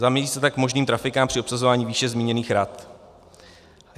Zamezí se tak možným trafikám při obsazování výše zmíněných rad.